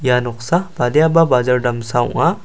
ia noksa badiaba bajar damsa ong·a.